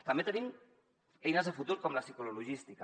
també tenim eines de futur com la ciclologística